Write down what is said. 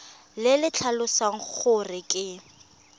le le tlhalosang gore ke